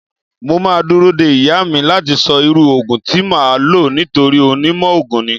Mo máa dúró de ìyá mi láti sọ irú Ògùn tí máa lò nítorí onímọ̀ ogun ni.